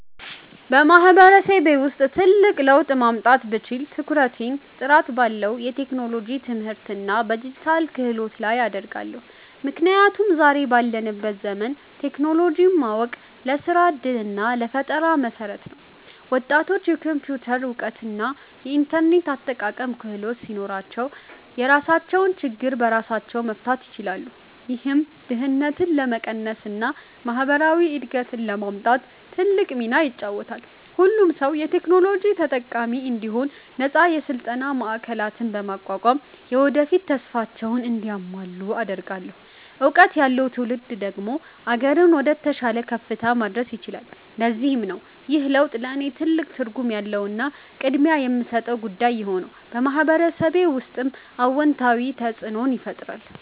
በማህበረሰቤ ውስጥ ትልቅ ለውጥ ማምጣት ብችል፣ ትኩረቴን ጥራት ባለው የቴክኖሎጂ ትምህርትና በዲጂታል ክህሎት ላይ አደርጋለሁ። ምክንያቱም ዛሬ ባለንበት ዘመን ቴክኖሎጂን ማወቅ ለስራ ዕድልና ለፈጠራ መሠረት ነው። ወጣቶች የኮምፒውተር እውቀትና የኢንተርኔት አጠቃቀም ክህሎት ሲኖራቸው፣ የራሳቸውን ችግር በራሳቸው መፍታት ይችላሉ። ይህም ድህነትን ለመቀነስና ማህበራዊ እድገትን ለማምጣት ትልቅ ሚና ይጫወታል። ሁሉም ሰው የቴክኖሎጂ ተጠቃሚ እንዲሆን ነፃ የስልጠና ማዕከላትን በማቋቋም፣ የወደፊት ተስፋቸውን እንዲያልሙ አደርጋለሁ። እውቀት ያለው ትውልድ ደግሞ አገርን ወደተሻለ ከፍታ ማድረስ ይችላል። ለዚህም ነው ይህ ለውጥ ለእኔ ትልቅ ትርጉም ያለውና ቅድሚያ የምሰጠው ጉዳይ የሆነው፤ በማህበረሰቤ ውስጥም አዎንታዊ ተፅእኖን ይፈጥራል።